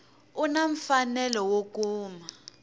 u na mfanelo wo kuma